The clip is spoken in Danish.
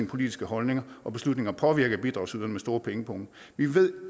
politiske holdninger og beslutninger påvirke af bidragsydere med store pengepunge vi ved